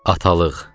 Atalıq.